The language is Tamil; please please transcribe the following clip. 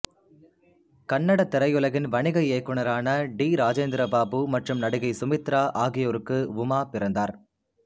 கன்னட திரையுலகின் வணிக இயக்குனரான டி இராஜேந்திர பாபு மற்றும் நடிகை சுமித்ரா ஆகியோருக்கு உமா பிறந்தார்